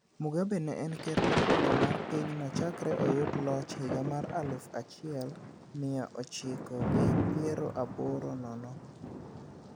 Mugabe ne en ker mokwongo mar pinyno chakre oyud loch higa mar aluf achiel mia ochiko gi pier aboro nono.